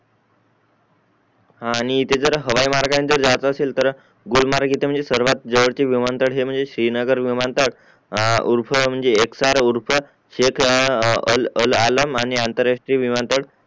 हा आणि इथे जर हवाई मार्गांचे जात असतील तर गुलमर्ग इथे म्हणजे सर्वात जावलचे विमानतळ हे म्हणजे श्रीनगर विमानतळ या उर्फ म्हणजे एक तर उर्फ एक आल आल आलं आणि आंतरराष्ट्रीय विमानतळ